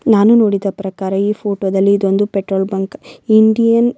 ನಾನು ನೋಡಿದ ಪ್ರಕಾರ ಈ ಫೋಟೋ ದಲ್ಲಿ ಇದೊಂದು ಪೆಟ್ರೋಲ್ ಬಂಕ್ ಇಂಡಿಯನ್ --